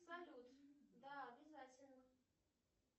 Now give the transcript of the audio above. салют да обязательно